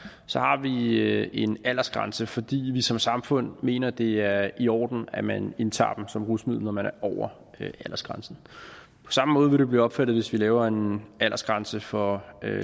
i vi en aldersgrænse fordi vi som samfund mener at det er i orden at man indtager dem som rusmiddel når man er over aldersgrænsen på samme måde vil det blive opfattet hvis vi laver en aldersgrænse for